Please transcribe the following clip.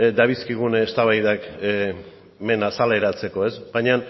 dabilzkigun eztabaidak hemen azaleratzeko baina